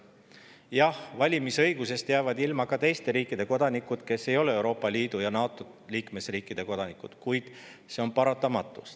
Jah, valimisõigusest jäävad ilma ka teiste riikide kodanikud, kes ei ole Euroopa Liidu ja NATO liikmesriikide kodanikud, kuid see on paratamatus.